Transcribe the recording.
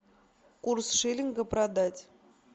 курс шиллинга продать